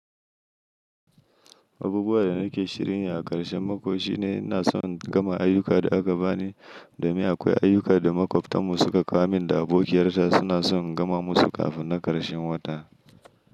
Abubuwan da nake shirin yi a ƙarshen mako shine ina so in gama ayyukan da aka bani, domin akwai ayyukan da makwabtanmu suka kawo min da abokiyarta suna son gama musu kafin na ƙarshen wata.